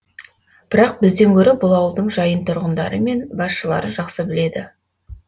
бірақ бізден гөрі бұл ауылдың жайын тұрғындары мен басшылары жақсы біледі